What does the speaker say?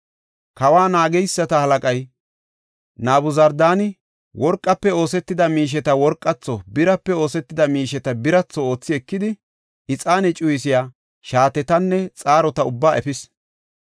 Kawa naageysata halaqay Nabuzardaani worqafe oosetida miisheta worqatho, birape oosetida miisheta biratho oothi ekidi, ixaane cuyisiya shaatetanne xaarota ubbaa efis.